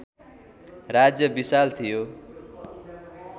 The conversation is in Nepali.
राज्य विशाल थियो